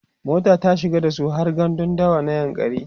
mota ta shiga dasu har gandun dawa na yankari